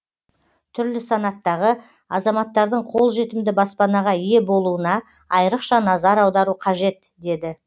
түрлі санаттағы азаматтардың қолжетімді баспанаға ие болуына айрықша назар аудару қажет деді